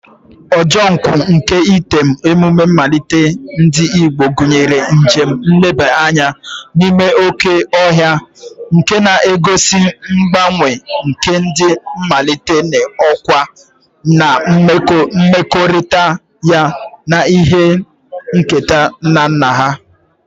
Ojo nkwu nke item, emume nmalite ndi Igbo, gunyere njem nleba anya n'ime oke ohia, nke na-egosi ngbanwe nke ndi nmalite n'okwa na mmekorita ya na ihe nketa nna nna ha.